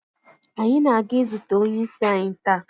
Anyị na-aga izute onye isi anyi taa.